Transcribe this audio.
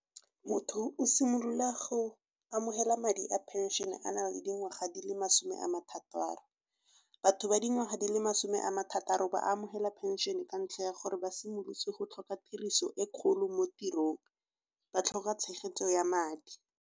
Motho o simolola go amogela madi a phenšene a na le dingwaga di le masome a mathataro. Batho ba dingwaga di le masome a mathataro ba amogela phenšene ka ntlha ya gore ba simolotse go tlhoka tiriso e kgolo mo tirong, ba tlhoka tshegetso ya madi.